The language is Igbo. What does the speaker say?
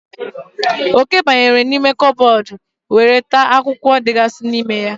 Oke banyere n'ime kabọọdụ were taa akwụkwọ dịgasị na ya.